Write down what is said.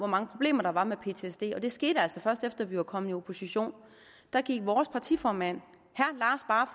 mange problemer der var med ptsd og det skete altså først efter vi var kommet i opposition gik vores partiformand